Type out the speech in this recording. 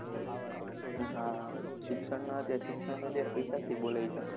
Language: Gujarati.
હા શિક્ષણના અત્યારે શિક્ષણના પૈસાથી બોલાય છે